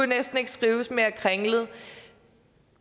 næsten ikke skrives mere kringlet